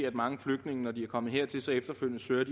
at mange flygtninge når de er kommet hertil efterfølgende søger